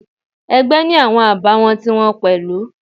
Ẹgbẹ́ ni awọn àbàwọ́n ti wọn pẹ̀lú.